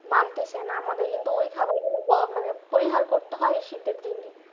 মানতেসে না আমাদের কিন্তু ওই খাবার গুলো মানে করতেই করতেই এই শীতের দিনে